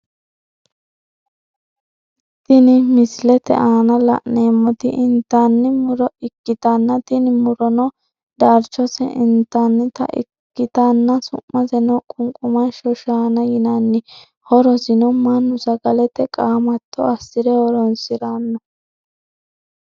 Tinni misilete aanna la'neemoti intanni muro ikitanna tinni murono darchose intannita ikitanna su'maseno qunqumasho shaanna yinnanni horosino Manu sagalete qaamatto asire horoonsirano.